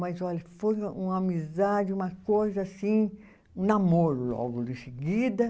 Mas, olha, foi uma amizade, uma coisa assim, um namoro logo de seguida.